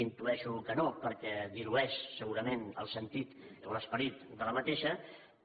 intueixo que no perquè dilueix segurament el sentit o l’esperit d’aquesta moció